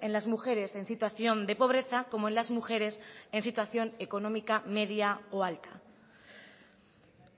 en las mujeres en situación de pobreza como en las mujeres en situación económica media o alta